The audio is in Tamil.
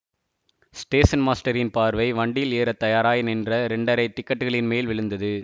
ஸ்டேஷன் மாஸ்டரின் பார்வை வண்டியில் ஏற தயாராய் நின்ற இரண்டரை டிக்கட்டுகளின்மேல் விழுந்தது